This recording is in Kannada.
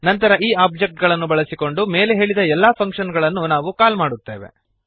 ನಂತರ ಈ ಒಬ್ಜೆಕ್ಟ್ ಗಳನ್ನು ಬಳಸಿಕೊಂಡು ಮೇಲೆ ಹೇಳಿದ ಎಲ್ಲ ಫಂಕ್ಶನ್ ಗಳನ್ನು ನಾವು ಕಾಲ್ ಮಾಡುತ್ತೇವೆ